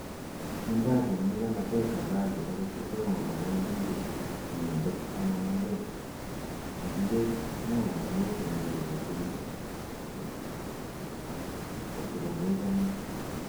kindacham nyikanatet halali akot kotoma konai ndo ibe inendet anan olo, kikilech melasimishan gei kotunin kotkomechame